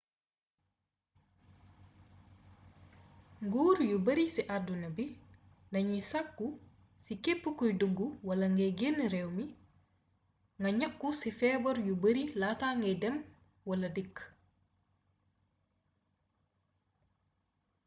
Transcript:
nguur yu bari ci àdduna bi dañuy sàkku ci képp kuy dug wala gay génn réew mi nga ñàqu ci feebar yu bari laata ngay dem wala dikk